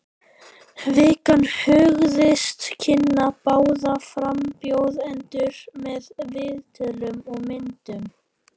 Vikan hugðist kynna báða frambjóðendur með viðtölum og myndum.